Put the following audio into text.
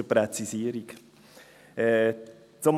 Also, zur Präzisierung: Ich bin Gerber, nicht Tom Gerber.